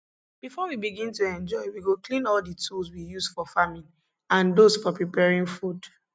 before we begin to enjoy we go clean all the tools we used for farming and those for preparing food